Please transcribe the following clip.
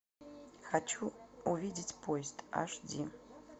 хочу увидеть поезд аш ди